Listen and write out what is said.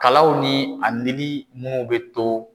Kalaw ni a nili munnu bɛ to